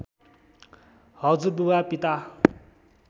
हजुरबुबा पिता